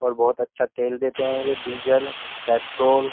और बहुत अच्छा तेल देते हैं ये डीजल पेट्रोल --